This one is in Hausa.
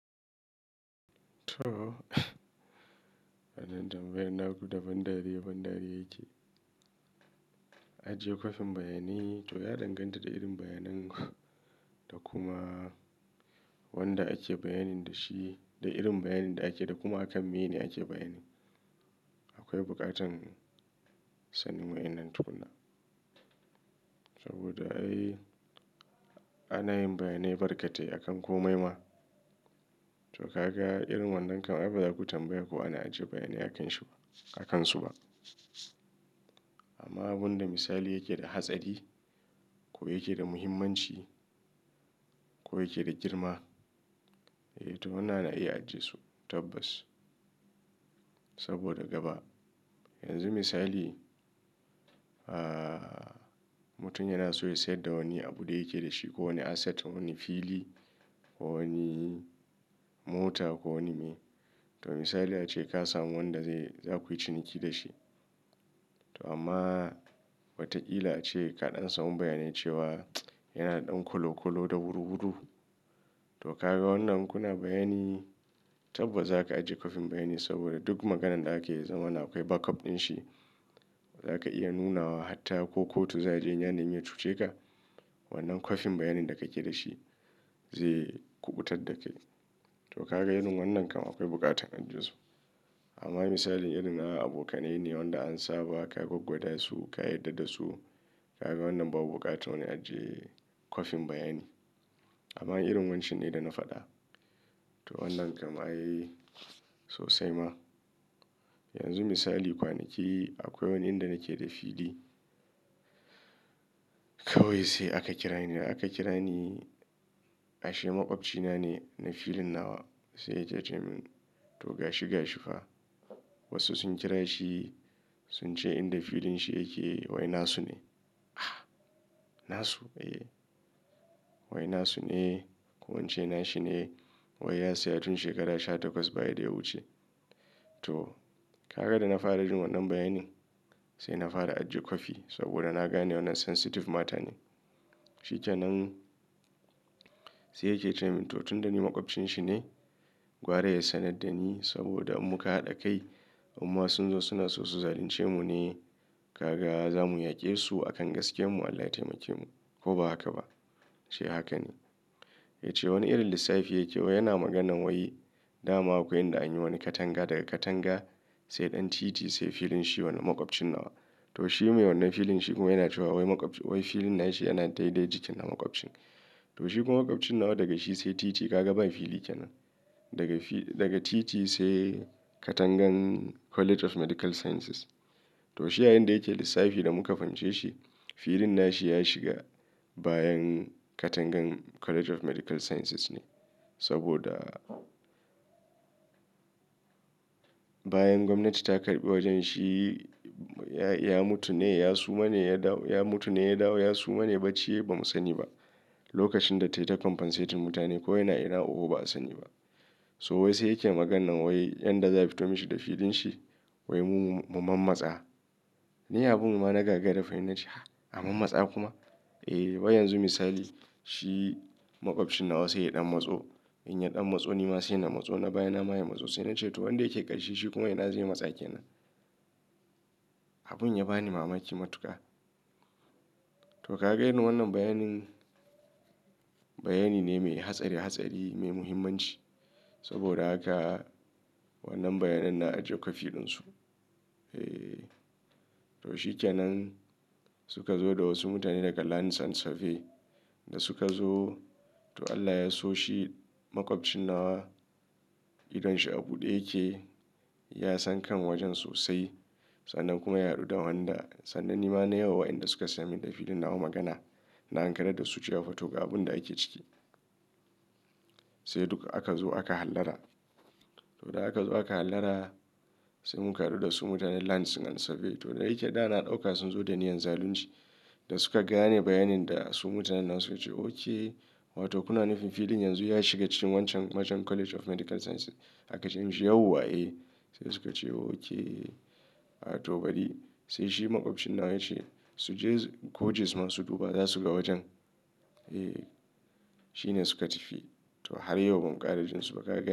To, wanan tambaya naku da ban ɗari, ban ɗari yake. Ajiye kwafin bayani, to ya danganta da irin bayanin da kuma wanda ake bayanin da shi, da irin bayanin da ake da kuma akan mene ake bayanin. Akwai buƙatar sanin wa'inan tukuna. Saboda ai ana yin bayanai barkatai akan komai ma. To kaga irin wannan kau ai baza ku tambaya ko ana ajiye bayani akanshi ba, akansu ba. Amma abunda misali yake da hatsari ko yake da muhimmanci ko yake da girma, eh to muna na iya ajiye su tabbas. Saboda gaba, yanzu misali, ah, mutum yana so ya sayar da wani abu da yake da shi ko wani asset, wani fili ko wani mota ko wani me. To misali ace ka samu wanda zai, za ku yi ciniki da shi. To amma watakila ace ka ɗan samu bayani cewa yana ɗan kolo kolo da wuru wuru. To kaga wannan kuna bayani, tabbas zaka ajiye kwafin bayani saboda duk maganan da ake zama na akwai backup dinshi. Zaka iya nuna wa hatta ko kotu za je yanayin ya cuce ka, wannan kwafin bayanin da kake da shi zai kuɓutar da kai. To kaga irin wannan kam akwai buƙatar ajiye su. Amma misalin irin na abokanai ne wanda an saba ka goggoɗa su, ka yarda da su. Kaga wannan babu buƙatar wani ajiye kwafin bayani. Amma irin wancan ne da na faɗa. To wannan kam ai sosai ma. Yanzu misali kwanaki akwai wani inda nake da fili. Kawai sai aka kira ni da aka kira ni ashe maƙwabci na ne na filin nawa. Sai ya ce min to gashi gashi fa. Wasu sun kira shi, sun ce inda filin shi yake wai na su ne. Na su? Eh. Wai na su ne ko ince na shi ne. Wai ya saya tun shekara sha takwas baya da ya wuce. To, kaga da na fara jin wannan bayani, sai na fara ajiye kwafi saboda na gane wannan sensitive mata ne. Shikenan sai yake cewa min to tun da ni maƙwabcinshi ne, gwara ya sanar da ni saboda muka haɗa kai. Amma sun zo suna so su zalunce mu ne. Kaga za mu yaƙe su akan gaskiyar mu Allah ya taimake mu ko ba haka ba? Shi haka ne. Ya ce wani irin lissafi yake wa yana maganan wai dama akwai inda anyi wani katanga daga katanga sai ɗan titi sai filin shi wannan maƙwabcin nawa. To shi mai wannan filin shi kuma yana cewa wai maƙwabci, wai filin nashi yana daidai jikin na maƙwabcin. To shi kuma maƙwabcin nawa daga shi sai titi ka ga ba fili kenan. Daga fi, daga titi sai katangan College of Medical Sciences. To shi yayinda yake lissafi da muka fahimce shi, filin nashi ya shiga bayan katangan College of Medical Sciences ne. Saboda bayan gwamnati ta karɓi wajen shi, ya mutu ne, ya suma ne ya dawo, ya mutu ne ya dawo ya suma ne bacci ne ba mu sani ba. Lokacin da tayi ta compensate mutane ko yana ina oho ba a sani ba. So wai sai yake maganan wai yanda za fito mashi da filin shi, wai mu, mu mammatsa. Ni abun ma na gagara fa ina cewa ha, a mammatta kuma? Eh, wai yanzu misali shi maƙwabcin nawa sai ya ɗan matso. In ya ɗan matso nima sai na matso na baya na ma ya matso sai nace to wanda yake ƙarshe shi kuma ina zai matsa kenan. Abun ya bani mamaki matuƙa. To kaga irin wannan bayanin, bayani ne mai hatsari hatsari mai muhimmanci. Saboda haka wannan bayanan na ajiye kwafiɗunsu. Eh, to shikenan suka zo da wasu mutane daga Lanzan Safe da suka zo. To Allah ya so shi maƙwabcin nawa, idon shi abu ɗe yake, ya san kan wajen sosai. Sannan kuma ya haɗu da wanda, sannan ni ma na yiwa wa'inda suka saya min da filin nawa magana. Na ankarar da su cewa photo ga abun da ake ciki. Sai duka aka zo aka hallara. To da aka zo aka hallara, sai mun karɓi da su mutanen Lanzan Safe. To da yake da na ɗauka sun zo da niyyar zalunci da suka gane bayanin da su mutanen nan suka ce okay. Wato kuna nufin filin yanzu ya shiga cikin wancan, wancan College of Medical Sciences. Aka ce musu yau kuwa eh. Sai suka ce okay. To bari sai shi maƙwabcin nawa ya ce su je coaches masu duba za su ga wajen. Eh, shine suka tafi. To har yau ban ƙara jin su ba ƙara.